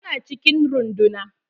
Tana cikin ruɗunan.